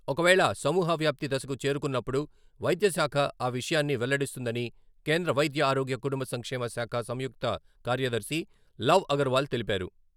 ఒకవేళ సమూహ వ్యాప్తి దశకు చేరుకున్నప్పుడు వైద్యశాఖ ఆ విషయాన్ని వెల్లడిస్తుందని కేంద్ర వైద్య ఆరోగ్య కుటుంబ సంక్షేమ శాఖ సంయుక్త కార్యదర్శి లవ్ అగర్వాల్ తెలిపారు.